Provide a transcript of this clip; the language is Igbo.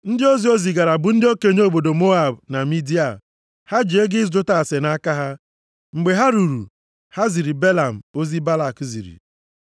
Ndị ozi o zigara bụ ndị okenye obodo Moab na Midia. Ha ji ego ịjụta ase nʼaka ha. Mgbe ha ruru, ha ziri Belam ozi Balak ziri.